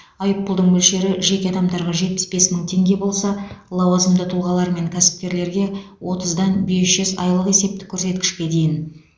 айыппұлдың мөлшері жеке адамдарға жетпіс бес мың теңге болса лауазымды тұлғалар мен кәсіпкерлерге отыздан бес жүз айлық есептік көрсеткішке дейін